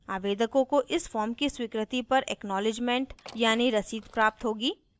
आवेदकों को इस form की स्वीकृति पर acknowledgement यानी रसीद प्राप्त होगी